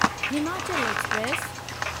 Himachal express